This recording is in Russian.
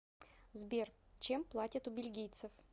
сбер чем платят у бельгийцев